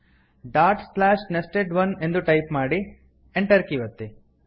dot slash nested one ಎಂದು type ಮಾಡಿ enter ಒತ್ತಿ